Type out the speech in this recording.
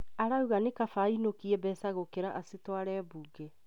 Araugire nĩkaba ainũkie mbeca gũkĩra acitware mbunge